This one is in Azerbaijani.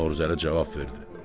Novruzəli cavab verdi: